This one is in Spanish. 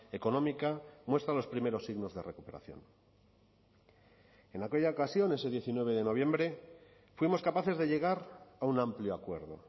económica muestran los primeros signos de recuperación en aquella ocasión ese diecinueve de noviembre fuimos capaces de llegar a un amplio acuerdo